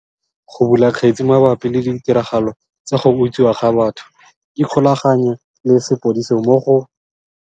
Go bula kgetse mabapi le ditiragalo tsa go utswiwa ga batho ikgolaganye le sepodisi mo go.